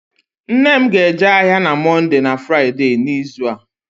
Nne m ga-eje ahịa na Mọnde na Fraịde n'izu a